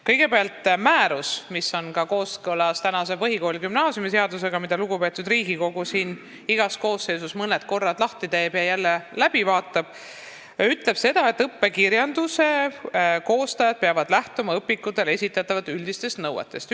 Kõigepealt, määrus, mis on kooskõlas ka põhikooli- ja gümnaasiumiseadusega, mida lugupeetud Riigikogu siin igas koosseisus mõned korrad lahti teeb ja jälle läbi vaatab, ütleb seda, et õppekirjanduse koostajad peavad lähtuma õpikutele esitatavatest üldistest nõuetest.